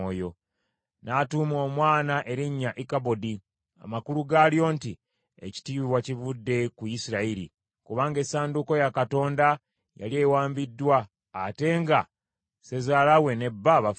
N’atuuma omwana erinnya Ikabodi, amakulu gaalyo nti, “Ekitiibwa kivudde ku Isirayiri,” kubanga essanduuko ya Katonda yali ewambiddwa ate nga ssezaala we ne bba bafudde.